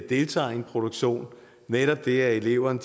deltager i en produktion netop det at eleverne